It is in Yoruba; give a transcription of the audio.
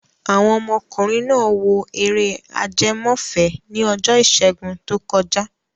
Àwọn ọmọkùnrin náà wo eré ajẹmọ́fẹ̀ẹ́ ni ọjọ́ ìṣẹ́gun tó kọjá.